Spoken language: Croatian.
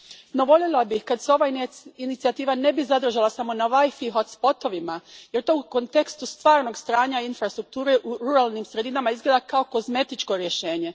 No, voljela bih kad se ova inicijativa ne bi zadržala samo na WiFi hotspotovima jer to u kontekstu stvarnog stanja infrastrukture u ruralnim sredinama izgleda kao kozmetičko rješenje.